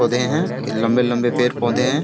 पौधे हैं ये लंबे-लंबे पेड़-पौधे हैं।